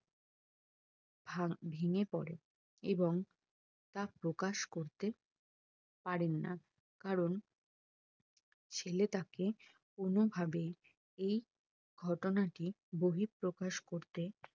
ভা ভেঙে পরে এবং তা প্রকাশ করতে পারেনা কারণ ছেলে তাকে কোনো ভাবেই এই ঘটনাটি বহিঃপ্রকাশ করতে